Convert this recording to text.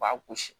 U b'a gosi